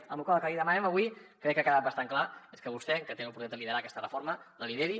amb la qual cosa el que li demanem avui crec que ha quedat bastant clar és que vostè que té l’oportunitat de liderar aquesta reforma la lideri